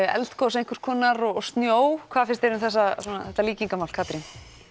eldgos einhvers konar og snjó hvað finnst þér um þessa svona þetta líkingamál Katrín